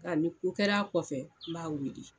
Nka ni ko kɛr'a kɔfɛ n b'a weele.